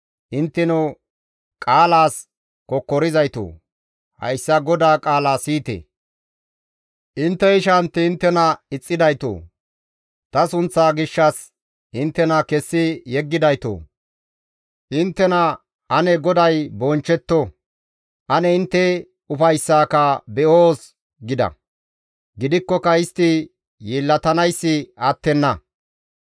Intteno qaalaas kokkorizaytoo, hayssa GODAA qaala siyite; «Intte ishantti inttena ixxidaytoo, ta sunththa gishshas inttena kessi yeggidaytoo! Inttena, ‹Ane GODAY bonchchettoo! Ane intte ufayssaaka be7oos› gida; gidikkoka istti yeellatanayssi attenna.